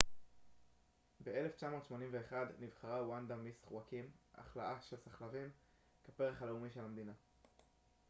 ב-1981 נבחרה ונדה מיס חואקים הכלאה של סחלבים כפרח הלאומי של המדינה